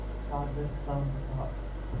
सागर शांत था